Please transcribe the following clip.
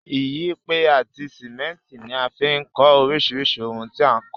Iyẹ́pẹ́ àti cement ní a fi n kó orísirísì oun ti a n kó